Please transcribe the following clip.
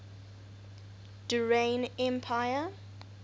durrani empire